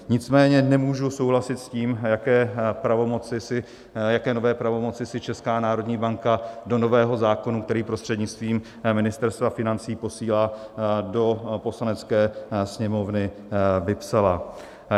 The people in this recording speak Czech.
Nicméně nemůžu souhlasit s tím, jaké nové pravomoci si Česká národní banka do nového zákona, který prostřednictvím Ministerstva financí posílá do Poslanecké sněmovny, vypsala.